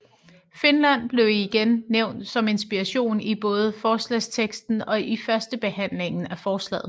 Finland blev igen nævnt som inspiration i både forslagsteksten og i førstebehandlingen af forslaget